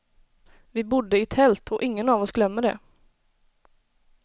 Vi bodde i tält och ingen av oss glömmer det.